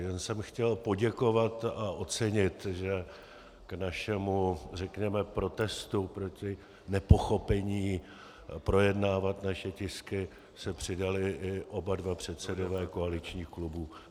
Jen jsem chtěl poděkovat a ocenit, že k našemu řekněme protestu proti nepochopení projednávat naše tisky se přidali i oba dva předsedové koaličních klubů.